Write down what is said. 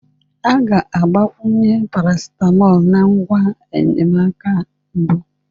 A ga-agbakwunye paracetamol na ngwa enyemaka mbụ.